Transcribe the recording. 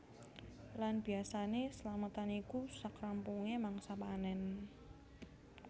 Lan biasané slametan iku sak rampungé mangsa panen